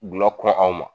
Gulɔ kura anw ma